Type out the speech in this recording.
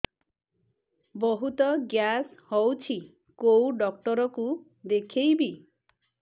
ବହୁତ ଗ୍ୟାସ ହଉଛି କୋଉ ଡକ୍ଟର କୁ ଦେଖେଇବି